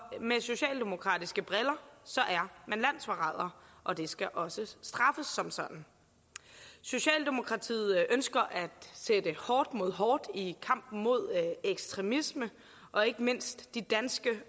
med socialdemokratiske briller er man landsforræder og det skal også straffes som sådan socialdemokratiet ønsker at sætte hårdt mod hårdt i kampen mod ekstremisme og ikke mindst i danskere